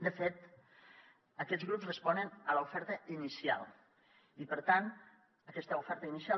de fet aquests grups responen a l’oferta inicial i per tant aquesta oferta inicial